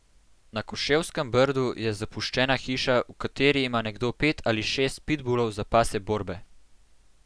Na Koševskem Brdu je zapuščena hiša, v kateri ima nekdo pet ali šest pitbulov za pasje borbe.